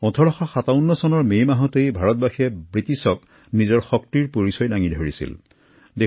১৮৫৭ৰ মে মাহতে ভাৰতবাসীয়ে ব্ৰিটিছৰ বিৰুদ্ধে শক্তি প্ৰদৰ্শন কৰিছিল